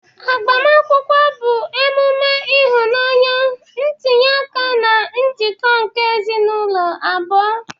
Agbamakwụkwọ bụ emume ịhụnanya, ntinye aka na njikọ nke ezinaụlọ abụọ.